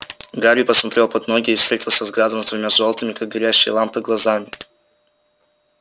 гарри посмотрел под ноги и встретился взглядом с двумя жёлтыми как горящие лампы глазами